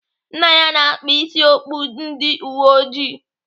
Nne ya na-akpa isi okpu ndị uweojii.